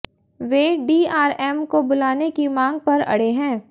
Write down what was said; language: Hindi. वे डीआरएम को बुलाने की मांग पर अड़े हैं